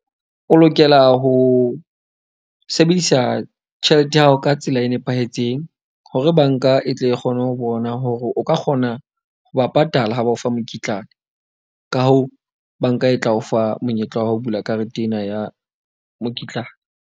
O lokela ho sebedisa tjhelete ya hao ka tsela e nepahetseng hore banka e tle kgone ho bona hore o ka kgona ho ba patala ha ba o fa mokitlane. Ka hoo, banka e tla o fa monyetla wa ho bula karete ena ya mokitlane.